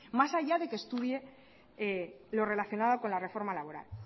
más allá de que estudie lo relacionado con la reforma laboral